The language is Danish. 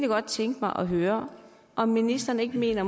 godt tænke mig at høre om ministeren ikke mener